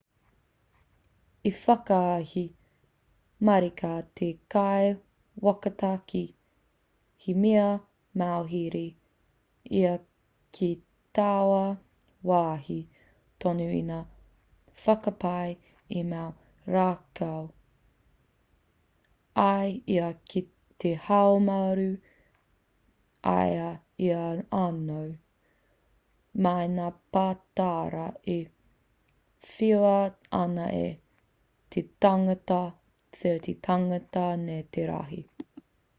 i whakahē marika te kaiwhakataki he mea mauhere ia ki taua wāhi tonu i ngā whakapae i mau rākau ai ia ki te haumaru i a ia anō mai i ngā pātara e whiua ana e te tāngata 30 tāngata nei te rahi